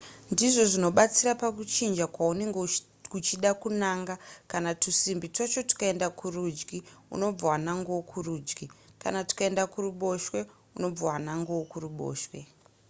ndizvo zvinobatsira pakuchinja kwaunenge uchida kunanga kana tusimbi twacho tukaenda kurudyi unobva wanangawo kurudyi kana tukaenda kuruboshwe unobva wanangawo kuruboshwe